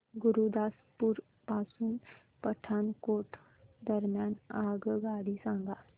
गुरुदासपुर पासून पठाणकोट दरम्यान आगगाडी सांगा